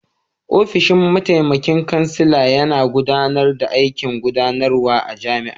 Ofishin mataimakin kansila yana gudanar da aikin gudanarwa a jami'a.